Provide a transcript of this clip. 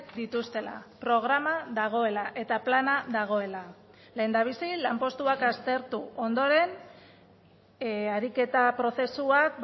dituztela programa dagoela eta plana dagoela lehendabizi lanpostuak aztertu ondoren ariketa prozesuak